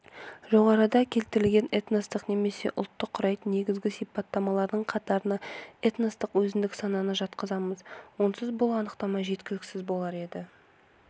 жоғарыда келтерілген этносты немесе ұлтты құрайтын негізгі сипаттамалардың қатарына этностық өзіндік сананы жатқызамыз онсыз бұл анықтама жеткіліксіз болар еді